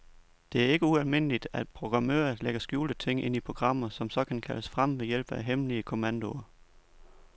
Det er ikke ualmindeligt, at programmører lægger skjulte ting ind i programmer, som så kan kaldes frem ved hjælp af hemmelige kommandoer.